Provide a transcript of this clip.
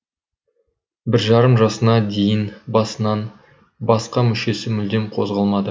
бір жарым жасына дейін басынан басқа мүшесі мүлдем қозғалмады